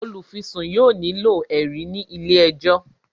olufisun yóò nilo ẹrí ní ilé ẹjọ